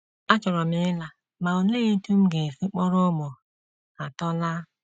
Achọrọ m ịla, ma olee otú m ga - esi kpọrọ ụmụ atọ laa?